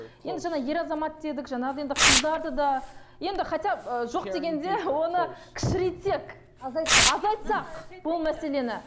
енді жаңа ер азамат дедік жаңағындай енді қыздарды да енді хотя ы жоқ дегенде оны кішірейтсек азайтсақ азайтсақ бұл мәселені